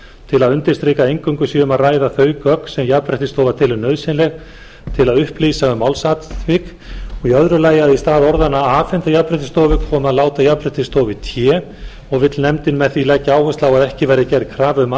til að undirstrika að eingöngu sé um að ræða þau gögn sem jafnréttisstofa telur nauðsynleg til að upplýsa um málsatvik og í öðru lagi að í stað orðanna afhenda jafnréttisstofu komi að láta jafnréttisstofu í té og vill nefndin með því leggja áherslu á að ekki verði gerð krafa um